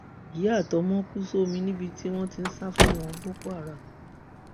ìyá àtọmọ kù sómi níbi tí wọn ti ń sá fáwọn boko haram